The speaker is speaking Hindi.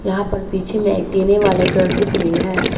यहां पर पीछे में एक टीने वाले घर दिख रही है।